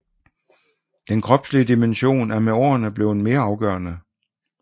Den kropslige dimension er med årene blevet mere afgørende